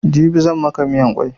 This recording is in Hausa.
Jibi zan maka miyan kwai